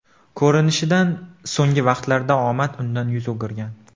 Ko‘rinishidan, so‘nggi vaqtlarda omad undan yuz o‘girgan.